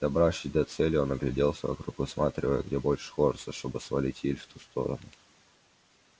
добравшись до цели он огляделся вокруг высматривая где больше хвороста чтобы свалить ель в ту сторону